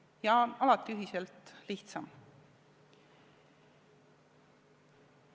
Ja alati on ühiselt lihtsam.